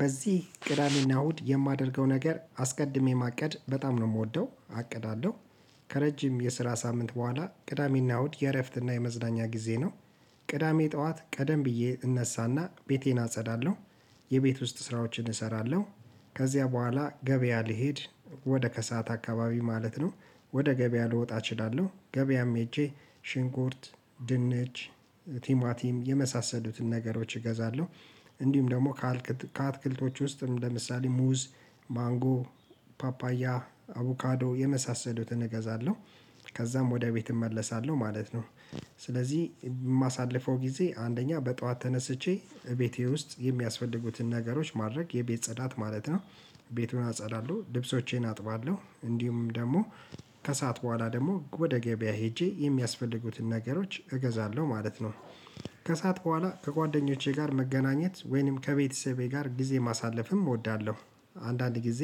በዚህ ቅዳሜና እሁድ የማደርገው ነገር አስቀድሜ ማቀድ በጣም ነው የምወደው አቅዳለሁ ከረጅም የስራ ሳምንት በኋላ ቅዳሜና እሁድ የእረፍትና የመዝናኛ ጊዜ ነው። ቅዳሜ ጠዋት ቀደም ብዬ እነሳና ቤቴን አጸዳለሁ። የቤት ውስጥ ስራዎችን እሰራለሁ። ከዚያ በኋላ ገበያ ልሄድ ወደ ከሰአት አካባቢ ማለት ነው ወደ ገበያ ልወጣ እችላለሁ። ገበያም ሄጄ ሽንኩርት ድንች ቲማቲም የመሳሰሉትን ነገሮች እገዛለሁ። እንዲሁም ደግሞ ከአትክልቶች ውስጥም ለምሳሌ ሙዝ ማንጎ ፓፓያ አቮካዶ የመሳሰሉትን እገዛለሁ። ከዛም ወደ ቤት እመለሳለሁ ማለት ነው። ስለዚህ የማሳልፈው ጊዜ አንደኛ በጧት ተነስቼ እቤቴ ውስጥ የሚያስፈልጉትን ነገሮች ማድረግ የቤት ጸዳት ማለት ነው። ቤቱን አጸዳለሁ ልብሶቼን አጥባለሁ እንዲሁም ደግሞ ከሰአት በኋላ ደግሞ ወደ ገበያ ሄጄ የሚያስፈልጉትን ነገሮች እገዛለሁ ማለት ነው። ከሰአት በኋላ ከጓደኞቼ ጋር መገናኘት ወይንም ከቤተሰቤ ጋር ጊዜ ማሳለፍም እወዳለሁ። አንዳንድ ጊዜ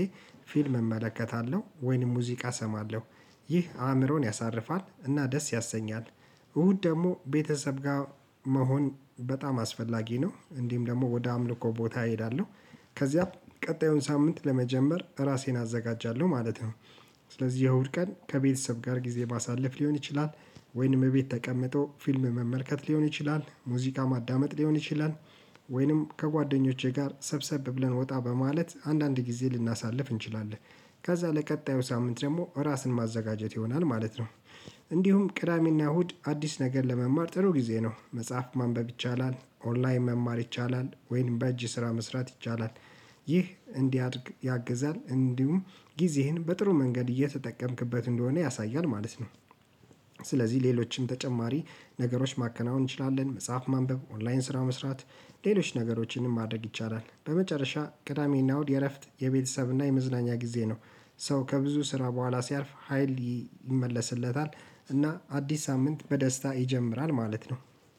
ፊልም እመለከታለሁ ወይንም ሙዚቃ እሰማለሁ። ይህ አእምሮን ያሳርፋል እና ደስ ያሰኛል። እሁድ ደግሞ ቤተሰብ ጋር መሆን በጣም አስፈላጊ ነው እንዲህም ደግሞ ወደ አምልኮ ቦታ እሄዳለሁ። ከዚያም ቀጣዩን ሳምንት ለመጀመር ራሴን አዘጋጃለሁ ማለት ነው። ስለዚህ የእሁድ ቀን ከቤተሰብ ጋር ጊዜ ማሳለፍ ሊሆን ይችላል ወይንም ቤት ተቀምጦ ፊልም መመልከት ሊሆን ይችላል ሙዚቃ ማዳመጥ ሊሆን ይችላል። ወይንም ከጓደኞቼ ጋር ሰብሰብ ብለን ወጣ በማለት አንዳንድ ጊዜ ልናሳልፍ እንችላለን። ከዛ ለቀጣዩ ሳምንት ደግሞ ራስን ማዘጋጀት ይሆናል ማለት ነው። እንዲሁም ቅዳሜና እሁድ አዲስ ነገር ለመማር ጥሩ ጊዜ ነው መጽሐፍ ማንበብ ይቻላል ኦንላይን መማር ይቻላል ወይም በእጅ ስራ መስራት ይቻላል። ይህ እንዲያድግ ያግዛል እንዲሁም ጊዜህን በጥሩ መንገድ እየተጠቀምክበት እንደሆነ ያሳያል ማለት ነው። ስለዚህ ሌሎችም ተጨማሪ ነገሮች ማከናወን እንችላለን መጽሐፍ ማንበብ ኦንላይን ስራ መስራት ሌሎች ነገሮችንም ማድረግ ይቻላል። በመጨረሻ ቅዳሜና ውድ የእረፍት የቤተሰብና የመዝናኛ ጊዜ ነው። ሰው ከብዙ ስራ በኋላ ሲያርፍ ሀይል ይመለስለታል እና አዲስ ሳምንት በደስታ ይጀምራል ማለት ነው።